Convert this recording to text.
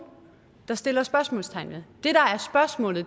der sætter spørgsmålstegn ved